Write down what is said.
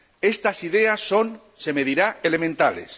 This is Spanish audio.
Estas ideas son, se me dirá, elementales.